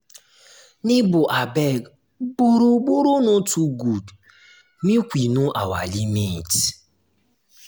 nebor abeg borrow-borrow no too good make we know our limit.